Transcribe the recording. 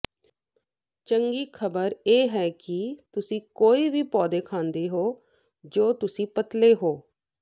ਚੰਗੀ ਖ਼ਬਰ ਇਹ ਹੈ ਕਿ ਤੁਸੀਂ ਕੋਈ ਵੀ ਪੌਦੇ ਖਾਂਦੇ ਹੋ ਜੋ ਤੁਸੀਂ ਪਤਲੇ ਹੋ